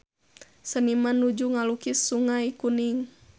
Seniman nuju ngalukis Sungai Kuning